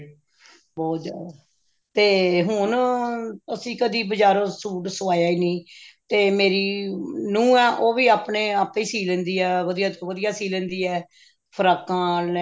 ਬਹੁਤ ਜਿਆਦਾ ਤੇ ਹੁਣ ਅਸੀਂ ਕਦੀ ਬਜਾਰੋਂ ਸੂਟ ਸਵਾਇਆ ਹੀ ਨਹੀ ਤੇ ਮੇਰੀ ਨੂਹ ਆ ਉਹ ਵੀ ਆਪਣੇ ਆਪੇ ਹੀ ਸੀ ਲੈਂਦੀ ਹੈ ਵਧੀਆ ਤੋਂ ਵਧੀਆ ਸੀ ਲੈਂਦੀ ਹੈ ਫ਼ਰਾਕਾਂ